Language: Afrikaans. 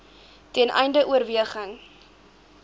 ten einde oorweging